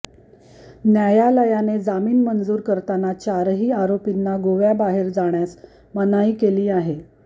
न्यायालयाने जामीन मंजूर करताना चारही आरोपींना गोव्याबाहेर जाण्यास मनाई केली आहे